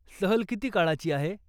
सहल किती काळाची आहे?